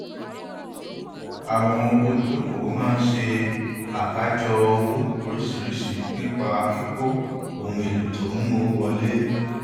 àwọn olùdókòwò máa ń ṣe àkájọ owó oríṣiríṣi nípa kíkó ohun èlò tó mú owó wọlé